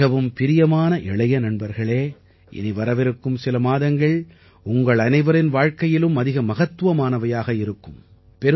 எனக்கு மிகவும் பிரியமான இளைய நண்பர்களே இனி வரவிருக்கும் சில மாதங்கள் உங்களனைவரின் வாழ்க்கையிலும் அதிக மகத்துவமானதாக இருக்கும்